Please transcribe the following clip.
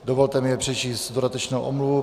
Dovolte mi přečíst dodatečnou omluvu.